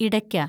ഇടയ്ക്ക